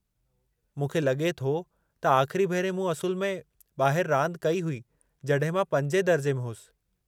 मूंखे लगे॒ थो त आख़िरी भेरे मूं असुलु में ॿाहिरि रांदि कई हुई जड॒हिं मां 5हीं दर्जे में होसि।